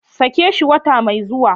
sake shi wata mai zuwa.